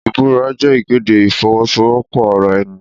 Ìbúra jẹ́ ìkéde ìfọwọ́sowọ́pọ̀ ara ẹni.